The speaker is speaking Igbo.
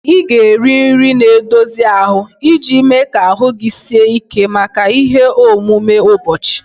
Ị ga-eri nri na-edozi ahụ iji mee ka ahụ gị sie ike maka ihe omume ụbọchị